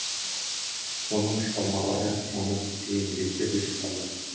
оның шығармалары оны көптеген белестерге шығарды